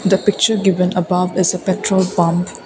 the picture given above is a petrol pump.